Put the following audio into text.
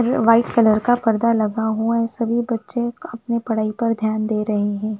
ये white colour का परदा लगा हुआ है सभी बच्चे अपनी पढाई पर ध्यान दे रहे है।